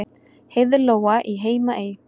Heiðlóa í Heimaey